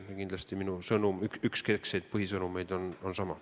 Ja kindlasti on üks minu keskseid põhisõnumeid sama.